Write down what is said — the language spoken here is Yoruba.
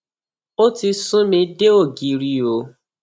ó ti sún mi dé ògiri o